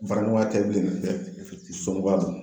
Baaraɲɔgɔnya tɛ bilen dɛ somogɔya don.